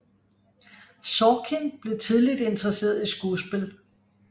Sorkin blev tidligt interesseret i skuespil